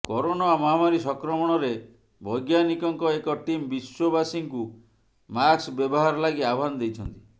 corona ମହାମାରୀ ସଂକ୍ରମଣରେ ବୈଜ୍ଞାନିକଙ୍କ ଏକ ଟିମ୍ ବିଶ୍ୱବାସୀଙ୍କୁ ମାସ୍କ ବ୍ୟବହାର ଲାଗି ଆହ୍ୱାନ ଦେଇଛନ୍ତି